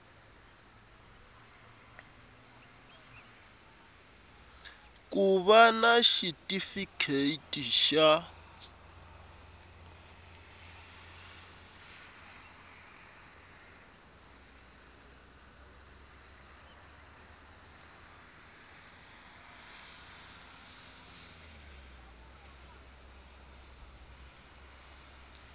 ku va na xitifiketi xa